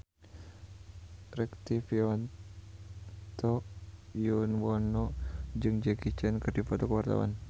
Rektivianto Yoewono jeung Jackie Chan keur dipoto ku wartawan